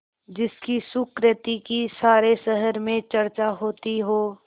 जिसकी सुकृति की सारे शहर में चर्चा होती हो